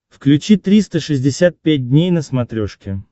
включи триста шестьдесят пять дней на смотрешке